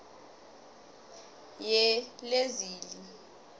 yelezili